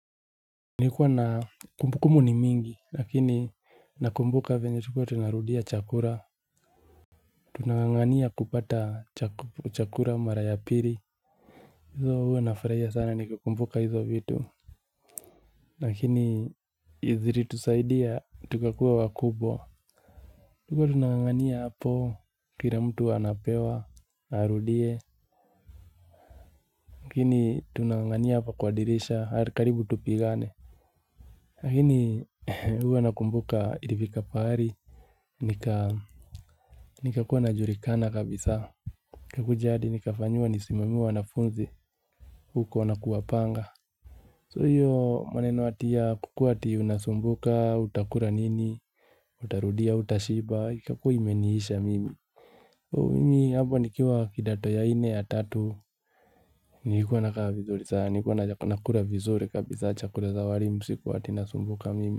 Nilikuwa na kumbukumbu ni mingi, lakini nakumbuka venye tulikuwa tunarudia chakula. Tunang'ang'ania kupata chakula mara ya pili. Hizo huwa nafurahia sana nikikumbuka hizo vitu. Lakini zilitusaidia tukakuwa wakubwa. Tulikuwa tunang'ang'ania hapo kila mtu anapewa arudie. Lakini tunang'ang'ania hapo kwa dirisha karibu tupigane. Lakini huwa nakumbuka ilifika pahali. Nikakuwa najulikana kabisa. Nikakuja hadi nikafanyiwa nisimamie wanafunzi. Huko na kuwapanga. So hiyo maneno ati kukuwa ati unasumbuka utakula nini. Utarudia hutashiba ikakuwa imeniisha mimi. Mimi hapo nikiwa kidato ya nne ya tatu. Nilikuwa nakaa vizuri sana. Nikuwa nakula vizuri kabisa chakula za walimu. Sikua ati nasumbuka mimi.